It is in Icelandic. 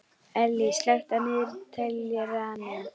Ellý, slökktu á niðurteljaranum.